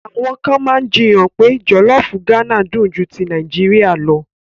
Àwọn kan máa jiyàn pé jọ̀lọ́fù Gánà dùn ju ti Nàìjíríà lọ.